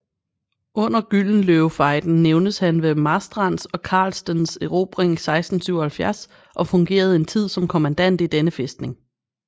Under Gyldenløvefejden nævnes han ved Marstrands og Carlstens erobring 1677 og fungerede en tid som kommandant i denne fæstning